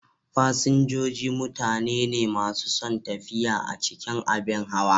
Fasinjoji mutane ne masu son tafiya a cikin abin hawa.